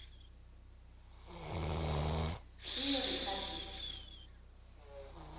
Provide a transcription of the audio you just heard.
kwiriphabliki